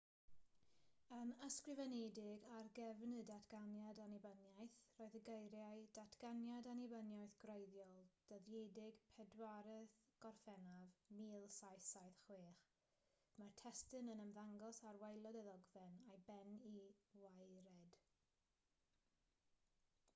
yn ysgrifenedig ar gefn y datganiad annibyniaeth roedd y geiriau datganiad annibyniaeth gwreiddiol dyddiedig 4ydd gorffennaf 1776 mae'r testun yn ymddangos ar waelod y ddogfen a'i ben i waered